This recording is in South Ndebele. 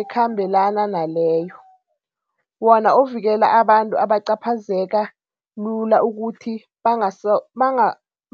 eKhambelana naleyo, wona ovikela abantu abacaphazeka lula ukuthi